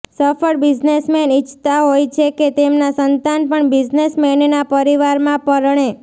સફળ બિઝનેસમેન ઇચ્છતા હોય છે કે તેમના સંતાન પણ બિઝનેસમેનના પરિવારમાં પરણે